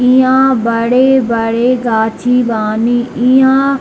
इहाँ बड़े-बड़े गाछी बानी इहाँ --